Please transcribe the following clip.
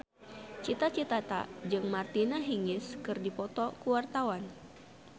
Cita Citata jeung Martina Hingis keur dipoto ku wartawan